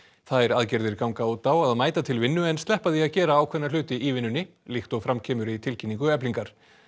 þær aðgerðir ganga út á að mæta til vinnu en sleppa því að gera ákveðna hluti í vinnunni líkt og fram kemur í tilkynningu Eflingar